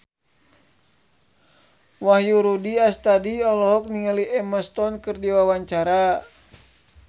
Wahyu Rudi Astadi olohok ningali Emma Stone keur diwawancara